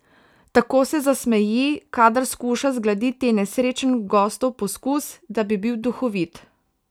Tako se zasmeji, kadar skuša zgladiti nesrečen gostov poskus, da bi bil duhovit.